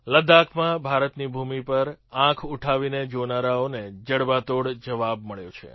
લદ્દાખમાં ભારતની ભૂમિ પર આંખ ઉઠાવીને જોનારાઓને જડબાતોડ જવાબ મળ્યો છે